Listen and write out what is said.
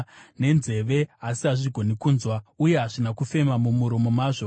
nenzeve, asi hazvigoni kunzwa, uye hamuna kufema mumuromo mazvo.